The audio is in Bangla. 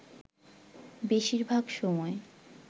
বেশির ভাগ সময়